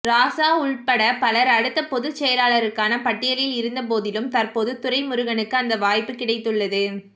ராசா உள்பட பலர் அடுத்த பொதுச்செயலாளருக்கான பட்டியலில் இருந்த போதிலும் தற்போது துரைமுருகனுக்கு அந்த வாய்ப்பு கிடைத்துள்ளது